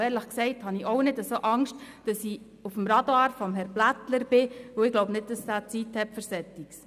Und ehrlich gesagt, befürchte ich auch nicht, dass ich auf Herrn Blättlers Radar sein könnte, denn ich glaube nicht, dass er Zeit für so etwas hat.